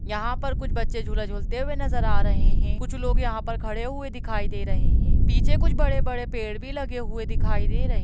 यहाँ पर कुछ बच्चे झूला झूलते हुए नजर आ रहे हैं कुछ लोग यहाँ पर खड़े हुए दिखाई दे रहे हैं पीछे कुछ बड़े-बड़े पेड़ भी लगे हुए दिखाई दे रहे --